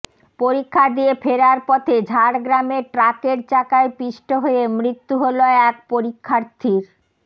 পরীক্ষা দিয়ে ফেরার পথে ঝাড়গ্রামে ট্রাকের চাকায় পিষ্ট হয়ে মৃত্যু হল এক পরীক্ষার্থীর